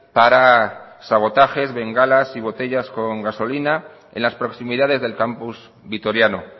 para sabotajes bengalas y botellas con gasolina en las proximidades del campus vitoriano